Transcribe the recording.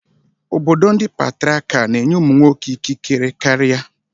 Obodo ndị Patriakal na-enye ụmụ nwoke ikikere karịa.